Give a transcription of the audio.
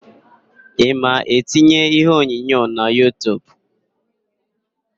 Ị ma etinye iheonyonyo na Yutub?